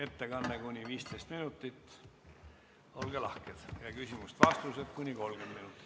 Ettekanne kuni 15 minutit ja küsimused-vastused kuni 30 minutit.